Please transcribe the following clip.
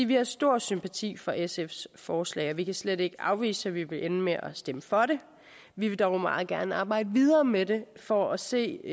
vi har stor sympati for sfs forslag og vi kan slet ikke afvise at vi vil ende med at stemme for det vi vil dog meget gerne arbejde videre med det for at se